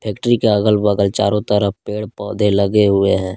Factory के अगल बगल चारों तरफ पेड़ पौधे लगे हुए हैं।